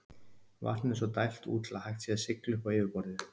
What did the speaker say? Vatninu er svo dælt út til að hægt sé að sigla upp á yfirborðið.